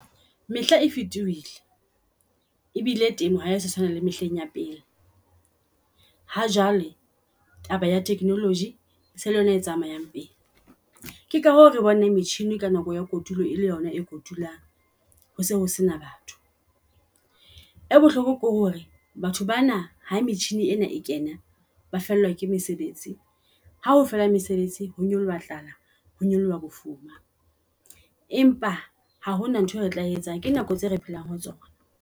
Mehla e fetohile e bile teng, ha se tshwana le mehleng ya pele. Ha jwale gaba ya technology e se e le yona e tsamayang pele. Keka hoo, re bona metjhini ka nako ya kotulo e le yona e kotulwang. Ho se ho sena batho e bohloko ke hore batho bana ha metjhine ena e kena ba fellwa ke mesebetsi. Hao fela mesebetsi ho nyoloha tlala ho nyoloha bofuma, empa ha hona nthwe re tla etsa, ke nako tse re phelang ho tsona.